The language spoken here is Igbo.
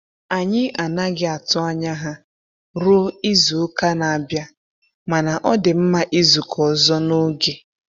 Anyị anaghị atụ anya ha ruo izu-uka na-abịa, mana ọ dị mma izukọ ọzọ n'oge.